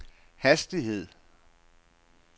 hastighed